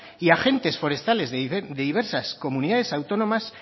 y agentes forestales de diversas comunidades autónomas